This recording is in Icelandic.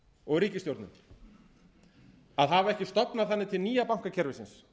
og ríkisstjórnin að hafa ekki stofnað þannig til nýja bankakerfisins